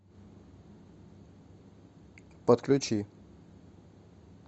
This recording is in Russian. подключи